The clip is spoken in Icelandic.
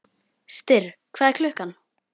Styrr, hvað er klukkan?